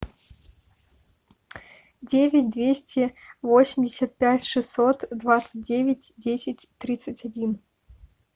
девять двести восемьдесят пять шестьсот двадцать девять десять тридцать один